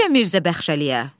Necə Mirzə Baxşəliyə?